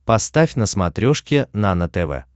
поставь на смотрешке нано тв